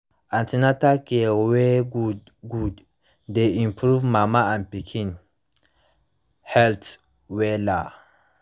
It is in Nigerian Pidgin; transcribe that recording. an ten atal care wey good good dey improve mama and pikin health wella